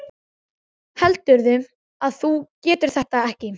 Heldurðu að þú getir þetta ekki?